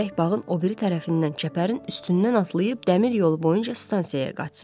Gərək bağın o biri tərəfindən çəpərin üstündən atlayıb dəmir yolu boyunca stansiyaya qaçsın.